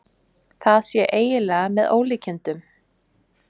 Það sé eiginlega með ólíkindum